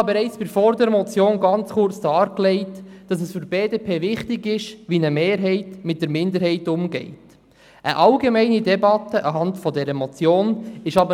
Für die BDP ist wichtig, wie eine Mehrheit mit der Minderheit umgeht, wie ich bereits bei der vorangegangenen Motion kurz dargelegt habe.